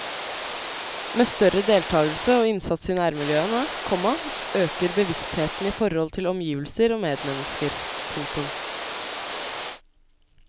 Med større deltakelse og innsats i nærmiljøene, komma øker bevisstheten i forhold til omgivelser og medmennesker. punktum